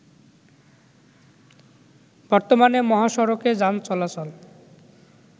বর্তমানে মহাসড়কে যান চলাচল